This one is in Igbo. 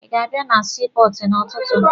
Ị ga-abịa na sii pọọtụ n'ụtụtụ?